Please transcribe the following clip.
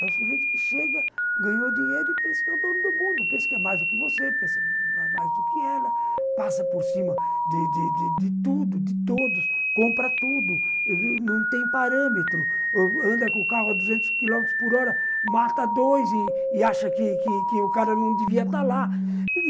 É o sujeito que chega, ganhou dinheiro e pensa que é o dono do mundo, pensa que é mais do que você, pensa que é mais do que ela, passa por cima de de de de tudo, de todos, compra tudo, não tem parâmetro, anda com o carro a duzentos quilômetros por hora, mata dois e e acha que o cara não devia estar lá.